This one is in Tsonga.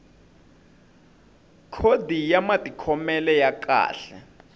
khodi ya matikhomelo ya kahle